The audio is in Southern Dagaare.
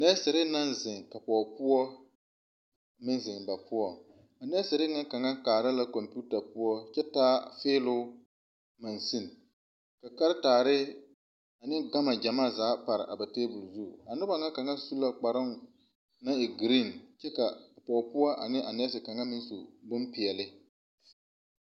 Nɛɛsere naŋ zeŋ pɔgeboɔ meŋ zeŋ ba poɔŋ a nɛɛsere na kaŋa kaara la kompeta poɔ kyɛ taa feeloo mansin karataare ne gama gyamaa pare a tabol zu noba na kaŋa su la kparoo naŋ e gerene kyɛ ka a pɔgepoɔ ne a nɛɛse kaŋa na su bompeɛle.